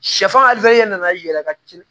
Sɛfan ye nan'i yɛlɛ ka ci